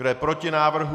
Kdo je proti návrhu?